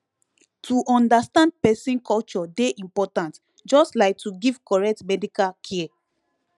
to understand person culture dey important just like to give correct medical care